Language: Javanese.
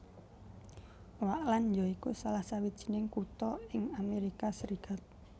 Oakland ya iku salah sawijining kutha ing Amerika Serikat